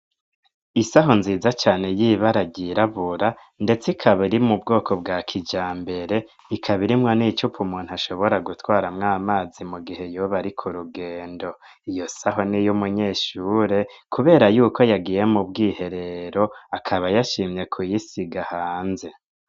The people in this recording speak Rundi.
Isaho nziza cane yibara ryirabura ndetse ikaba iri mu bwoko bwa kijambere ikaba irimwo n'icupa umuntu ashobora gutwaramwo amazi mu gihe yoba ariku rugendo iyo saho n'iyumunyeshure kubera yuko yagiye mu bw'iherero akaba yashimye kuyisiga hanze.